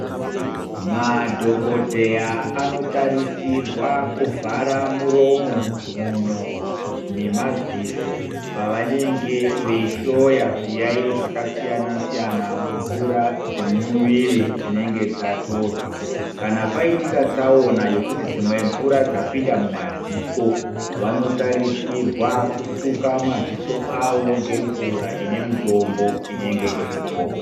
Madhogodheya anotarisirwa kuvhara muromo, mhuno nemaziso pavanenge veihloya zviyaiyo zvakasiyana-siyana mumvura dzemumuviri dzinenge dzatorwa. Kana paitika tsaona yekuti dzimwe mvura dzapinda mumadziso vanotarisirwa kusuka maziso avo ngemvura ine mutombo inenge iripo.